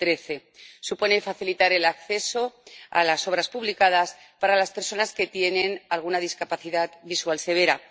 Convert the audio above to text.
2013. Supone facilitar el acceso a las obras publicadas para las personas que tienen alguna discapacidad visual severa.